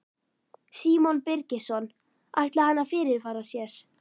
Símon Birgisson: Ætlaði hann að fyrirfara sér?